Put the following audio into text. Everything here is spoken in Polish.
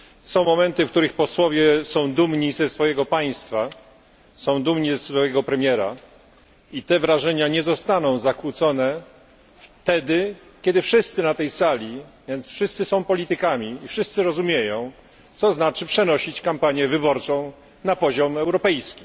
Są momenty, w których posłowie są dumni ze swojego państwa, są dumni ze swojego premiera, i te wrażenia nie zostaną zakłócone wtedy, kiedy wszyscy na tej sali, są politykami i rozumieją, co to znaczy przenosi się kampanię wyborczą na poziom europejski.